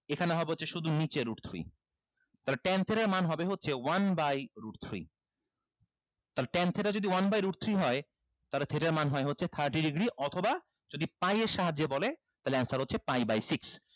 এখানে হবে হচ্ছে শুধু নিচে root three তাহলে ten theta এর মান হবে হচ্ছে one by root three তাহলে ten theta যদি one by root three হয় তাহলে theta এর মান হয় হচ্ছে thirty degree অথবা যদি pie এর সাহায্যে বলে তাহলে answer হচ্ছে pie by six